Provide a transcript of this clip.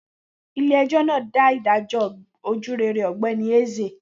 Ile ejò na da ìdájọ is ojurere ogbeni Eze